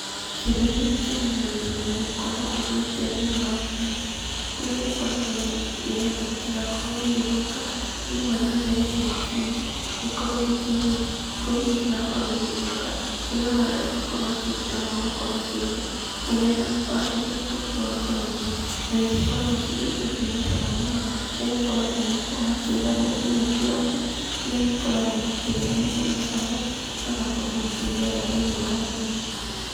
Kĩndũ gĩkĩ kĩmenyagĩrĩrwo na gĩkorwo ũgĩikia thĩiniĩ wa burinji, kũrĩa gĩkoragwo nĩgetha gĩtigakorwo gĩgĩthũka, andũ maikagia thĩiniĩ wa burinji, gĩkorwo gĩkĩigwo kũu gĩtigakorwo gĩgĩthũka, kĩrĩa ũrarĩa ũgakorwo ũkĩruta na ũgakorwo ũkĩruga, nĩgetha warĩkia kũruga ũgakorwo ũkĩrĩa na nĩcikoragwo cirĩ irio ciĩna cama mũno, nĩgũkorwo andũ nĩmakoragwo makĩgagũra nginya kĩroko, kũrĩa makoragwo makĩrĩanĩria na caai, magakorwo makĩigua wega thĩinĩ wa mwĩrĩ.